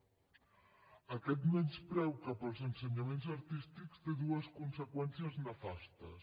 aquest menyspreu cap als ensenyaments artístics té dues conseqüències nefastes